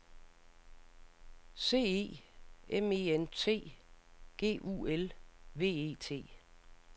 C E M E N T G U L V E T